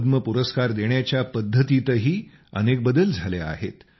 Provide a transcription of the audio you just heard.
पद्म पुरस्कार देण्याच्या पद्धतीतही अनेक बदल झाले आहेत